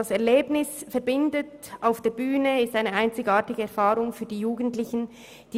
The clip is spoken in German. Das Erlebnis verbindet, und die Bühnenerfahrung ist für die Jugendlichen einzigartig.